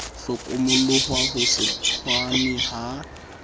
hlokomoloha ho se tshwane ha